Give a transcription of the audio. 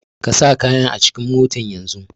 Ka sa kayan acikin mota yanzun!